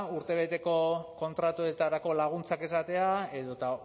urtebeteko kontratuetarako laguntzak esatea edota